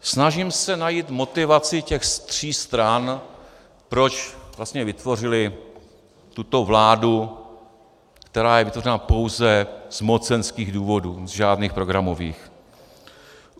Snažím se najít motivaci těch tří stran, proč vlastně vytvořily tuto vládu, která je vytvořena pouze z mocenských důvodů, z žádných programových.